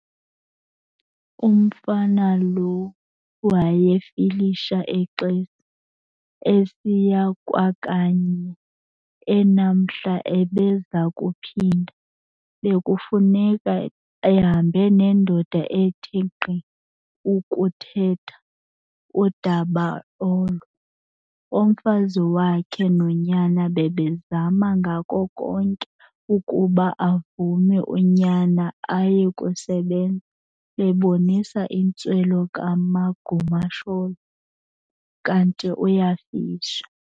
Umfana lo wayefilisha eXesi, esiya kwakanye, enamhla ebeza kuphinda, bekufuneka ehambe nendoda ethe nkqi ukuthetha udaba olo. Umfazi wakhe nonyana bebezama ngako konke ukuba avume unyana ayekusebenza, bebonisa intswelo kaMagumasholo, kanti uyafisha.